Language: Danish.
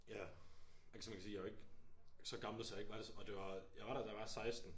Ja. Altså man kan sige jeg jo ikke så gammel så jeg ikke var og det var jeg var der da jeg var 16